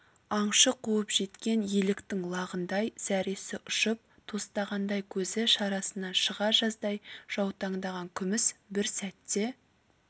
аңшы қуып жеткен еліктің лағындай зәресі ұшып тостағандай көзі шарасынан шыға жаздай жаутаңдаған күміс бір сәтте